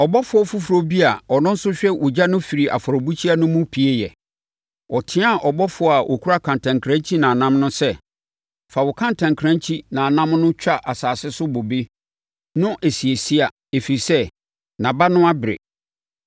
Ɔbɔfoɔ foforɔ bi a ɔno nso hwɛ ogya no firi afɔrebukyia no mu pueeɛ. Ɔteaa ɔbɔfoɔ a ɔkura kantankrankyi nnamnnam no sɛ, “Fa wo kantankrankyi nnamnnam no twa asase so bobe no esia esia ɛfiri sɛ, nʼaba no abere.”